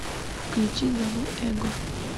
включи зову эго